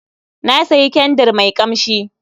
Na sayi kyandir mai kamshi